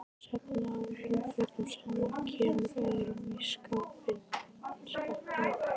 Safnar óhreinum fötum saman, kemur öðru fyrir í skápum.